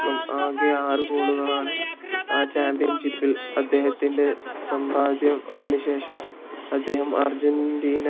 അടക്കം ആകെ ആറു goal ആണ് ആ championship ഇൽ അദ്ദേഹത്തിന്റെ സമ്പാദ്യം അതിനുശേഷം അദ്ദേഹം ആർജിന്റീന